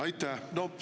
Aitäh!